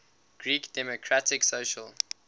greek democratic social